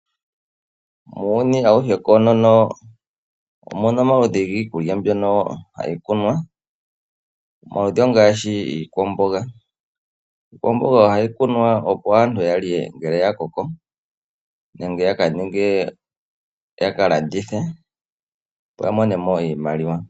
Muuyuni awuhe konono omuna omaludhi giikulya mbyoka hayi kunwa, omaludhi ongaashi iikwamboga. Iikwamboga oahyi kunwa opo aantu yalye ngele ya koko nenge ya kalandithe opo yamone mo iimaliwa.